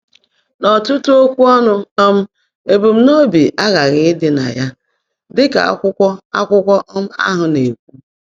N’ọtụtụ okwu ọnụ um ebumnobi aghaghị ịdị na ya. Dị ka akwụkwọ akwụkwọ um ahụ na-ekwu.